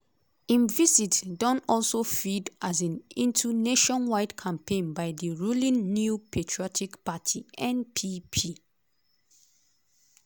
im visit don also feed um into nationwide campaign by di ruling new patriotic party (npp).